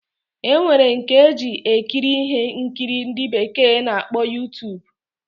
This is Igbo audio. Enwere nke eji ekiri ihe nkiri ndi bekee na-akpọ Youtube.